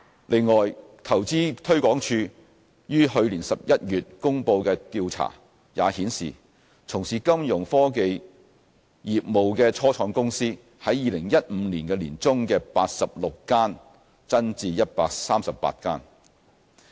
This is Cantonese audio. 另外，投資推廣署於去年11月公布的調查也顯示，從事金融科技業務的初創公司從2015年年中的86間增至138間。